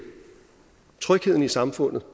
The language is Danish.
trygheden i samfundet